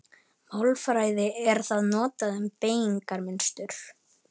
Í málfræði er það notað um beygingarmynstur.